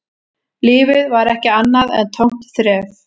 Lífið var ekki annað en tómt þref